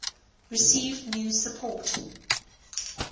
received new support